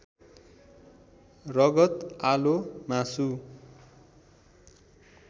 रगत आलो मासु